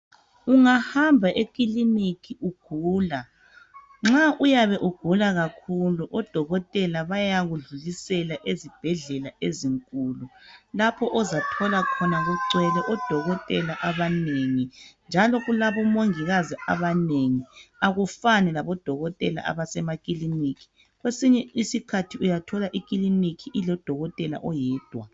Ungahamba ekilinika ugula nxa uyabe ugula kakhulu odokotela bayakudlulisela ezibhedlela ezinkulu. Lapho ozothola khona kugwele odokotela abaningi njalo kulabomongikazi abanengi abafani labodokotela abasemakilika. Kwesinye isikhathi uyathola emakilinika uyathola kulodokotela oyedwa.